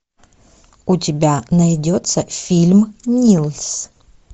у тебя найдется фильм нильс